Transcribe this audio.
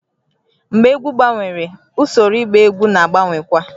Mgbe egwu gbanwere, usoro ịgba egwu na-agbanwekwa